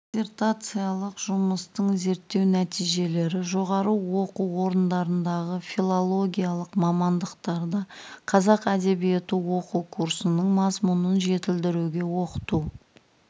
диссертациялық жұмыстың зерттеу нәтижелері жоғары оқу орындарындағы филологиялық мамандықтарда қазақ әдебиеті оқу курсының мазмұнын жетілдіруге оқыту